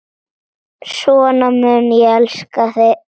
Svona mun ég elska þig.